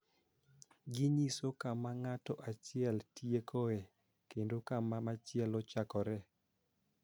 Ginyiso kama ng�ato achiel tiekoe kendo kama machielo chakoree.